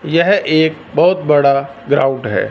यह एक बहोत बड़ा ग्राउंड है।